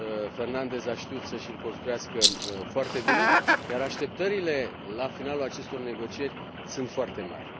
Fernandez a știut să și l construiască foarte bine, iar așteptările la finalul acestor negocieri sunt foarte mari.